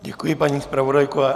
Děkuji, paní zpravodajko.